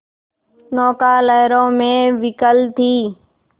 नौका लहरों में विकल थी